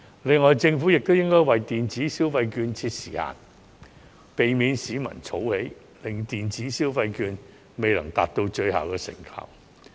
另外，政府亦應為電子消費券設定時限，避免市民儲存電子消費券，以致未能達到最大的成效。